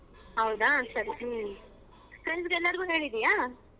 ಹೌದಾ ಸರಿ friends ಎಲ್ಲಾರಗೂ ಹೇಳಿದಿಯ.